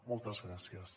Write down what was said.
moltes gràcies